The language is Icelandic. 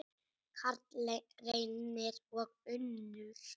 Karl Reynir og Unnur.